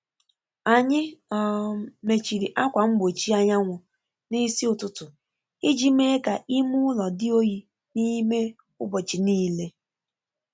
Anyị um mechiri ákwá mgbochi anyanwụ n'ịsị ụtụtụ iji mee ka ime ụlọ dị oyi n’ime ụbọchị niile.